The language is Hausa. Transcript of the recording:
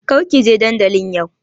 Kar ki je dandalin yau!